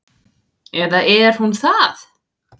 Eða er hún það?